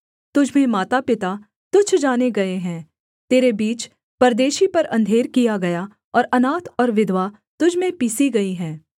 तुझ में मातापिता तुच्छ जाने गए हैं तेरे बीच परदेशी पर अंधेर किया गया और अनाथ और विधवा तुझ में पीसी गई हैं